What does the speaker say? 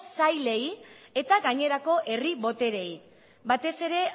sailei eta gainerako herri botereei batez ere